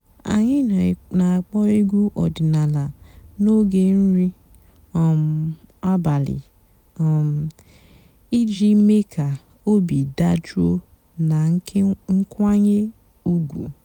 ányị́ nà-àkpọ́ ègwú ọ̀dị́náàlà n'óge nrí um àbàlí um ìjì méé kà óbí dàjụ́ọ́ nà ǹkwànyé ùgwú.